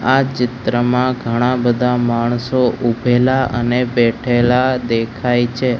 આ ચિત્રમાં ઘણા બધા માણસો ઊભેલા અને બેઠેલા દેખાય છે.